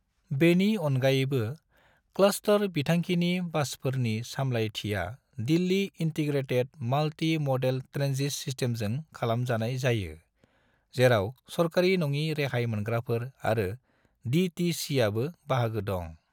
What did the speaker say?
बेनि अनगायैबो, क्लस्टर बिथांखिनि बासफोरनि सामलायथिया दिल्लि इन्टीग्रेटेड मल्टी-मडेल ट्रेन्जिट सिस्टमजों खालामजानाय जायो, जेराव सरकारि नङि रेहाय मोनग्राफोर आरो डी.टी.सी.आबो बाहागो दं।